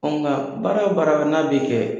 Nka baara o baara na bi kɛ